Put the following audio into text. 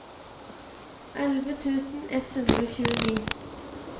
elleve tusen ett hundre og tjueni